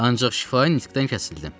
Ancaq şifahi nitqdən kəsildim.